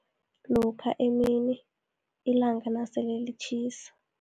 Lokha emini, ilanga nasele litjhisa.